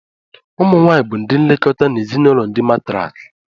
Ụmụ nwanyị bụ ndị nlekọta n'ezinụlọ ndi martriarch